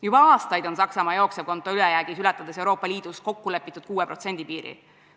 Juba aastaid on Saksamaa jooksevkonto ülejäägiga, ületades Euroopa Liidus kokkulepitud 6% piiri.